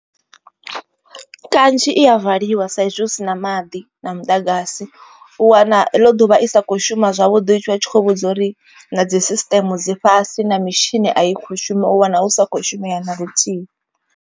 Kanzhi i ya valiwa sa izwi hu si na maḓi na muḓagasi u wana heḽo ḓuvha i sa kho shuma zwavhuḓi. Vha tshi khou vhudza uri na dzi sisiṱeme dzi fhasi na mitshini a i kho shuma u wana hu sa khou shumela na luthihi.